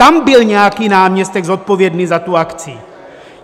Tam byl nějaký náměstek zodpovědný za tu akci!